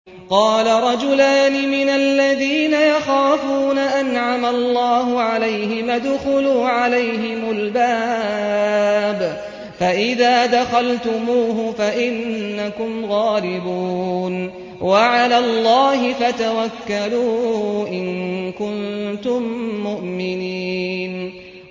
قَالَ رَجُلَانِ مِنَ الَّذِينَ يَخَافُونَ أَنْعَمَ اللَّهُ عَلَيْهِمَا ادْخُلُوا عَلَيْهِمُ الْبَابَ فَإِذَا دَخَلْتُمُوهُ فَإِنَّكُمْ غَالِبُونَ ۚ وَعَلَى اللَّهِ فَتَوَكَّلُوا إِن كُنتُم مُّؤْمِنِينَ